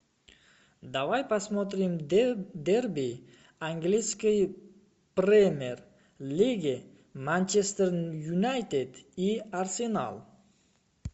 давай посмотрим дерби английской премьер лиги манчестер юнайтед и арсенал